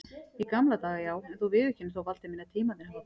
Í gamla daga já, en þú viðurkennir þó Valdi minn að tímarnir hafa breyst.